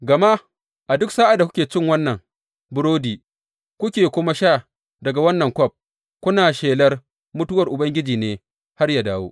Gama a duk sa’ad da kuke cin wannan burodi, kuke kuma sha daga wannan kwaf, kuna shelar mutuwar Ubangiji ne har yă dawo.